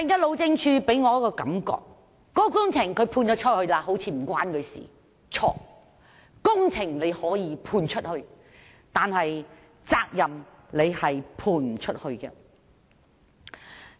路政署給我的感覺是工程外判出去後就與它無關，但這是錯的，工程可以外判，責任卻無法外判。